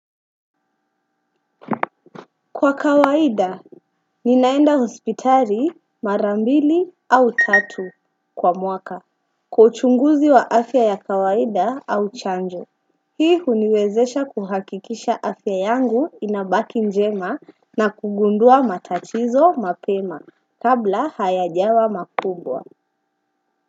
Kwa kawaida, ninaenda hospitali marambili au tatu kwa mwaka kwa uchunguzi wa afya ya kawaida au chanjo. Hii huniwezesha kuhakikisha afya yangu inabaki njema na kugundua matatizo mapema kabla hayajawa makubwa.